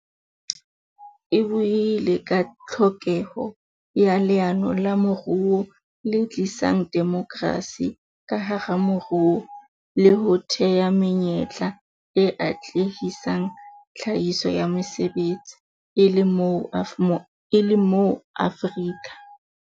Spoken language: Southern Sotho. E buile ka tlhokeho ya leano la moruo le tlisang demokrasi ka hara moruo le ho thea menyetla e atlehisang tlhahiso ya mesebetsi, e le moo Maafrika.